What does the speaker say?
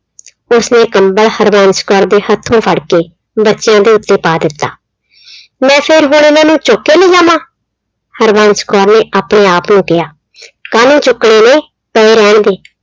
ਉਸਨੇ ਕੰਬਲ ਹਰਬੰਸ ਕੌਰ ਦੇ ਹੱਥੋਂ ਫੜ ਕੇ ਬੱਚਿਆਂ ਦੇ ਉੱਤੇ ਪਾ ਦਿੱਤਾ। ਮੈਂ ਫਿਰ ਹੁਣ ਏਨਾਂ ਨੂੰ ਚੁੱਕ ਕੇ ਲੈ ਜਾਵਾਂ, ਹਰਬੰਸ ਕੌਰ ਨੇ ਆਪਣੇ ਆਪ ਨੂੰ ਕਿਹਾ, ਕਾਹਨੂੰ ਚੁੱਕਣੇ ਨੇ ਪਏ ਰਹਿਣ ਦੇ